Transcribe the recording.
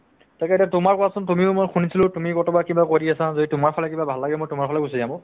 তাকে এতিয়া তোমাৰ কোৱাচোন তুমিও মই শুনিছিলো তুমি ক'ৰবাত কিবা কৰি আছা যদি তোমাৰ ফালে কিবা ভাল লাগে মই তোমাৰ ফালে গুচি যাম অ'